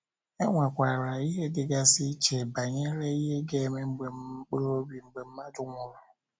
E nwekwara echiche dịgasị iche, banyere ihe ga - eme mkpụrụ obi mgbe mmadụ nwụrụ.